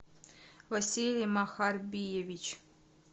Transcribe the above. василий махарбиевич